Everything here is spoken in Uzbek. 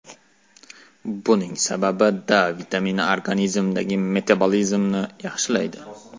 Buning sababi D vitamini organizmdagi metabolizmni yaxshilaydi.